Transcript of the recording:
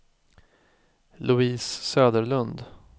Louise Söderlund